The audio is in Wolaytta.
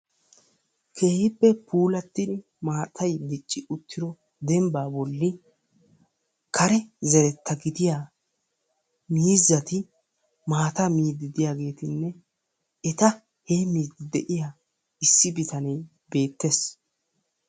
Keehippe puulatidi maatay dicci uttido dembbaa bolli kare zereta gidiya miizzati maataa miidi diyaageetinne eta heemiidi de'iya issi bitanee beettees.